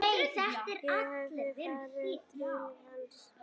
Ég hef farið til hans.